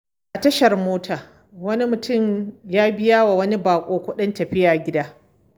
A tashar mota, wani mutum ya biya wa wani bako kudin tafiya gida.